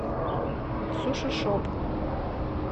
сушишоп